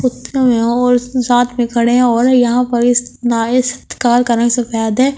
यहाँ और साथ में खड़े है और यहाँ पर है।